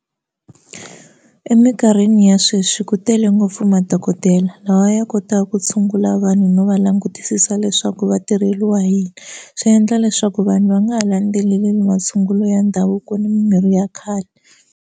Eminkarhini ya sweswi ku tele ngopfu madokodela lawa ya kotaka ku tshungula vanhu no va langutisisa leswaku va tirheliwa hi yini swi endla leswaku vanhu va nga ha landzeleli masungulo ya ndhavuko ni mimirhi ya khale.